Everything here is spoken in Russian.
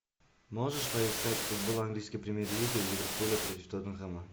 можешь поискать футбол английской премьер лиги ливерпуля против тоттенхэма